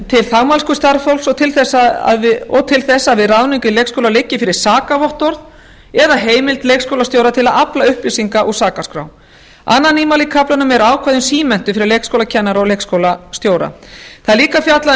til þagmælsku starfsfólks og til þess að við ráðningu í leikskóla liggi fyrir sakavottorð eða heimild leikskólastjóra til að afla upplýsinga úr sakaskrá annað nýmæli í kaflanum eru ákvæði um símenntun fyrir leikskólakennara og leikskólastjóra það er líka fjallað